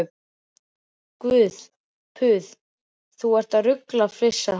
Guð puð, þú ert að rugla, flissaði hann.